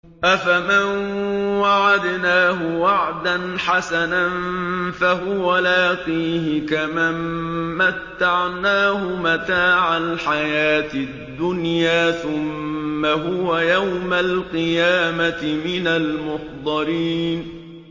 أَفَمَن وَعَدْنَاهُ وَعْدًا حَسَنًا فَهُوَ لَاقِيهِ كَمَن مَّتَّعْنَاهُ مَتَاعَ الْحَيَاةِ الدُّنْيَا ثُمَّ هُوَ يَوْمَ الْقِيَامَةِ مِنَ الْمُحْضَرِينَ